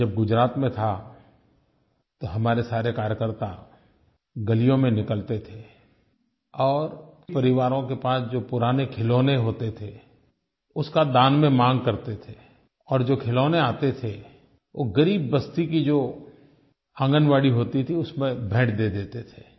मैं जब गुजरात में था तो हमारे सारे कार्यकर्ता गलियों में निकलते थे और परिवारों के पास जो पुराने खिलौने होते थे उसका दान में मांग करते थे और जो खिलौने आते थे वो ग़रीब बस्ती की जो आंगनबाड़ी होती थी उसमें भेंट दे देते थे